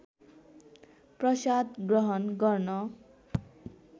प्रसाद ग्रहण गर्न